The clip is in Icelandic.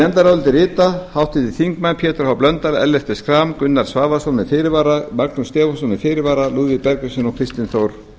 nefndarálitið rita háttvirtir þingmenn pétur h blöndal ellert b schram gunnar svavarsson með fyrirvara magnús stefánsson með fyrirvara lúðvík bergvinsson og